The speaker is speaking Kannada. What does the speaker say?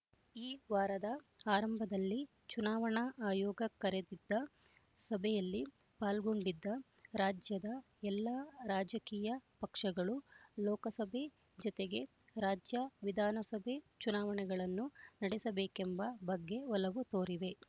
ಈ ವಾರದ ಆರಂಭದಲ್ಲಿ ಚುನಾವಣಾ ಆಯೋಗ ಕರೆದಿದ್ದ ಸಭೆಯಲ್ಲಿ ಪಾಲ್ಗೊಂಡಿದ್ದ ರಾಜ್ಯದ ಎಲ್ಲ ರಾಜಕೀಯ ಪಕ್ಷಗಳು ಲೋಕಸಭೆ ಜತೆಗೆ ರಾಜ್ಯ ವಿಧಾನಸಭೆ ಚುನಾವಣೆಗಳನ್ನು ನಡೆಸಬೇಕೆಂಬ ಬಗ್ಗೆ ಒಲವು ತೋರಿವೆ